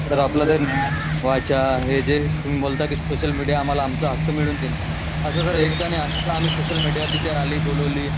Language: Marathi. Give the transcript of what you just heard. सर आपल्याला न्याय वाचा हे जे तुम्ही बोलता की सोशल मीडिया आम्हाला आमचा हक्क मिळून देईल असं जर एकदा आणि सोशल मीडिया तिथे आली बोलवली